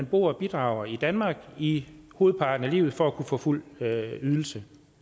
boet og bidraget i danmark i hovedparten af livet for at kunne få fuld ydelse